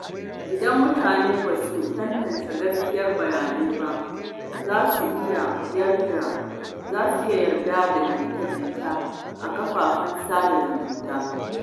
Idan mutane ba su tantance gaskiyar bayanai ba, za su iya yarda da jita-jita a kafafen sada zumunta.